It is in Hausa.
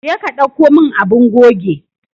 Je ka dauko min abun goge.